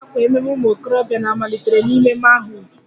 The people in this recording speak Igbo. Na iwa àkwà ememme ụmụ okorobịa na-malitere n'ime manhood